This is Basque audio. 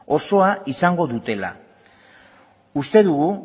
osoa izango dutela uste dugu